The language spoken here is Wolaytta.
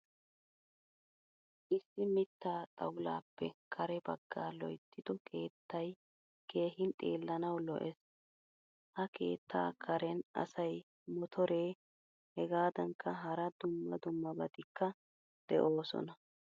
Issi mitta xawullappe kare baggaa loyttido keettay keehin xeelanawu lo'ees. Ha keettaa karen asay. Motore hegadankka hara dumma dummabatikka de'osona.